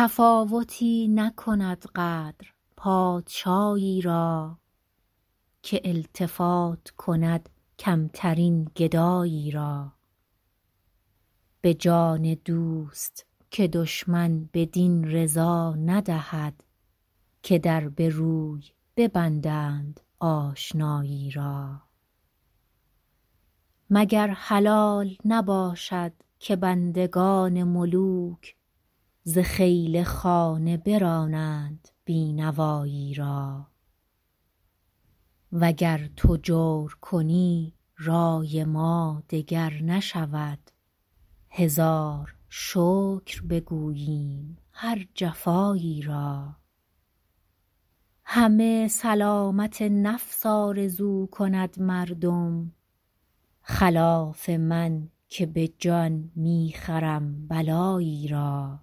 تفاوتی نکند قدر پادشایی را که التفات کند کمترین گدایی را به جان دوست که دشمن بدین رضا ندهد که در به روی ببندند آشنایی را مگر حلال نباشد که بندگان ملوک ز خیل خانه برانند بی نوایی را و گر تو جور کنی رای ما دگر نشود هزار شکر بگوییم هر جفایی را همه سلامت نفس آرزو کند مردم خلاف من که به جان می خرم بلایی را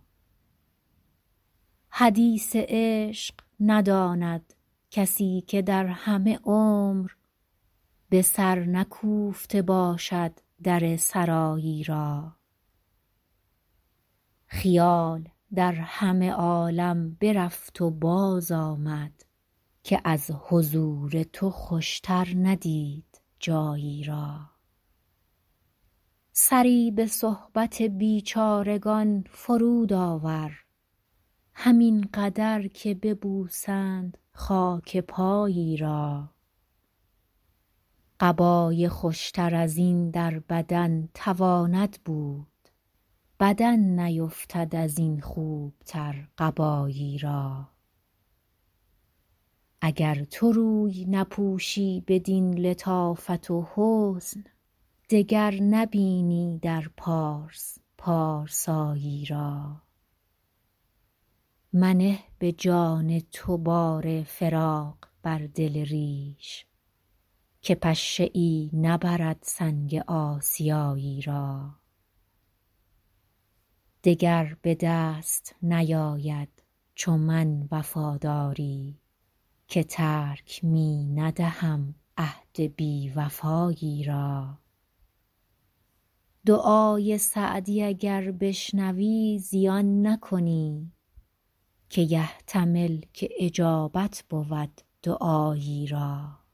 حدیث عشق نداند کسی که در همه عمر به سر نکوفته باشد در سرایی را خیال در همه عالم برفت و بازآمد که از حضور تو خوشتر ندید جایی را سری به صحبت بیچارگان فرود آور همین قدر که ببوسند خاک پایی را قبای خوشتر از این در بدن تواند بود بدن نیفتد از این خوبتر قبایی را اگر تو روی نپوشی بدین لطافت و حسن دگر نبینی در پارس پارسایی را منه به جان تو بار فراق بر دل ریش که پشه ای نبرد سنگ آسیایی را دگر به دست نیاید چو من وفاداری که ترک می ندهم عهد بی وفایی را دعای سعدی اگر بشنوی زیان نکنی که یحتمل که اجابت بود دعایی را